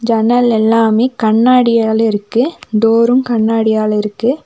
ஜன்னலெல்லாமே கண்ணாடியால இருக்கு டோரும் கண்ணாடியால இருக்கு.